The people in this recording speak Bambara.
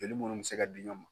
Jeli munnu bɛ se ka di ɲɔgɔn ma.